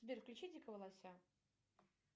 сбер включи дикого лося